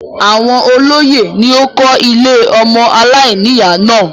Àwọn olóyè ni ó kó ilé ọmọ aláìníyà náà.